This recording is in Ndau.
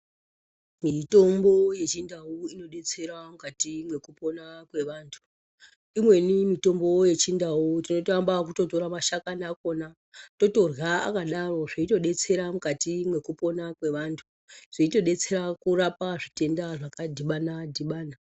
Mitombo ye chindau ino detsera mukati meku pona kwe vantu imweni mitombo ye chindau tinoto amba ekuto tora mashakani akona totorya akadaro zveito detsera mukati meku pona kwe vantu zveito detsera kurapa zvi tenda zvaka dhibana dhibana.